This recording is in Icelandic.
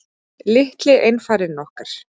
Litli einfarinn okkar.